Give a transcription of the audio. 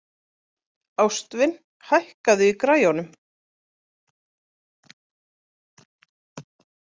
Ástvin, hækkaðu í græjunum.